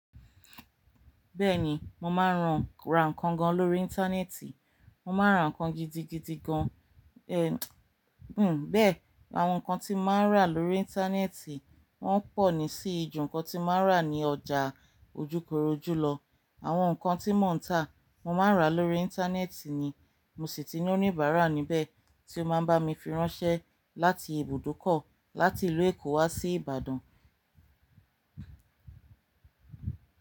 Bẹ́ẹ̀ni, mo máa ń rán ra nǹkan gan lórí íńtánẹ́ẹ̀tì. Mo máa ń ra nǹkan gidigidi gan. Hmm. Bẹ́ẹ̀, àwọn nǹkan tí mo máa ń rà lórí íńtánẹ́ẹ̀tì wọ́n pọ̀ ní sì ju nǹkan tí mo máa ń rà ní ọjà ojúkorojú lọ. Àwọn nǹkan tí mò ń tà mo máa ń ra lórí íńtánẹ́ẹ̀tì ni mo sì ti ní oníbàárà níbẹ̀ tí ó máa ń bá mi fi ránṣẹ́ láti ibùdókọ̀ láti ìlú Èkó wá sí Ìbàdàn.